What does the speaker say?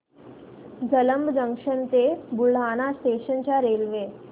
Jalamb junction ते Buldhana station च्या railway